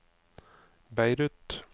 Beirut